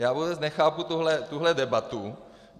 Já vůbec nechápu tuto debatu.